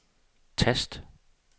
tast